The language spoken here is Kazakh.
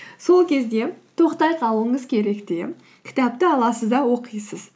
сол кезде тоқтай қалуыңыз керек те кітапты аласыз да оқисыз